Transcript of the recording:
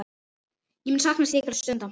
Ég mun sakna slíkra stunda.